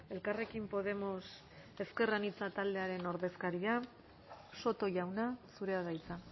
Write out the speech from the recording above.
elkarrekin podemos ezker anitza taldearen ordezkaria soto jauna zurea da hitza